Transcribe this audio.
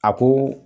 A ko